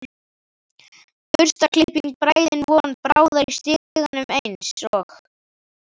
Burstaklippt bræðin von bráðar í stiganum eins og